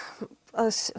að